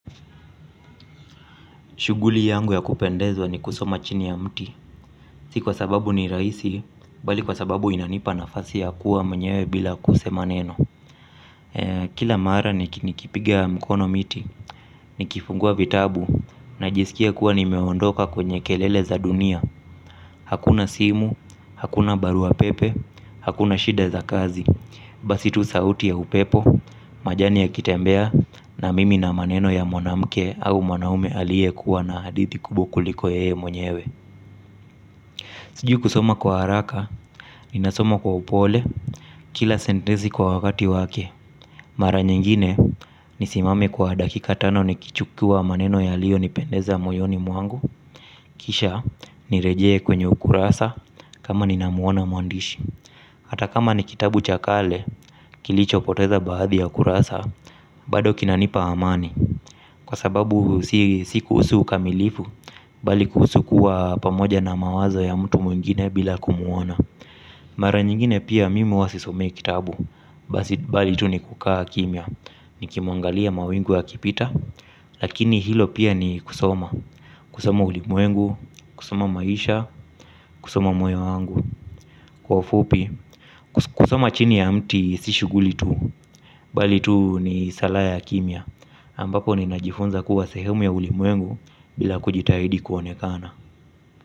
Shughuli yangu ya kupendeza ni kusoma chini ya mti, si kwa sababu ni rahisi, bali kwa sababu inanipa nafasi ya kuwa mwenyewe bila kusema neno. Kila mara nikipiga mkono miti, nikifungua vitabu, najisikia kama nimeondoka kwenye kelele za dunia. Hakuna simu, hakuna barua pepe, hakuna shida za kazi, basi tu sauti ya upepo, majani yakitembea. Na mimi na maneno ya mwanamke au mwanaume aliyekuwa na hadithi kubwa kuliko yeye mwenyewe. Sijui kusoma kwa haraka, ninasoma kwa upole, kila sentensi kwa wakati wake. Mara nyingine, nisimame kwa dakika tano nikichukua maneno yaliyonipendeza moyoni mwangu. Kisha nirejee kwenye ukurasa kama ninamuona mwandishi. Hata kama ni kitabu cha kale kilichopoteza baadhi ya kurasa. Bado kinanipa amani kwa sababu si kuhusu ukamilifu, bali kuhusu kuwa pamoja na mawazo ya mtu mwingine bila kumuona. Mara nyingine pia mimi huwa sisomei kitabu. Bali tu nikukaa kimya. Nikiyaangalia mawingu yakipita. Lakini hilo pia ni kusoma. Kusoma ulimwengu, kusoma maisha. Kusoma moyo wangu. Kwa ufupi kusoma chini ya mti si shughuli tu. Bali tu ni sala ya kimya. Ambapo ninajifunza kuwa sehemu ya ulimwengu bila kujitahidi kuonekana.